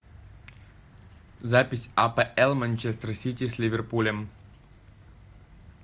запись апл манчестер сити с ливерпулем